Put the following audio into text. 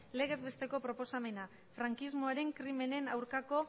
legez besteko proposamena frankismoaren krimenen aurkako